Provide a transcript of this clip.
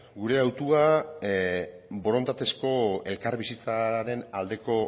gure autua borondatezko elkarbizitzaren aldeko